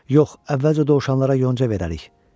Yox, əvvəlcə dovşanlara yonca verərik.